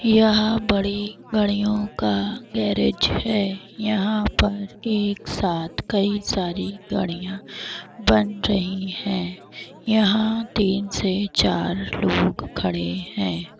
यहाँ बड़ी गाड़ियों का गैरेज है यहाँ पर एक साथ कई सारी गाड़ियाँ बन रही है यहाँ तीन से चार लोग खड़े हैं।